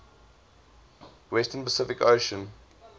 western pacific ocean